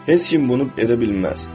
Heç kim bunu edə bilməz.